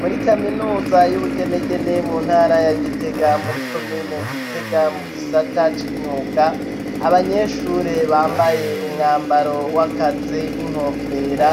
Muri kaminuza y'ubugenegene mu ntara ya gitega muri komine gitega mu gisata c'imyuga abanyeshure bambaye umwambaro w'akazi n'inkofera